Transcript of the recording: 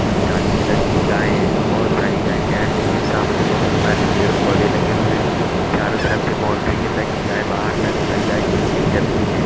कुछ काली कलर की गाये हैं। बहुत सारी गाय टेहल रही है। सामने बहुत सारे पेड़ पौधे लगे हुए। चारों तरफ से बाउंड्री है ताकि गाये बाहर निकल जाए। नीचे जमीन है।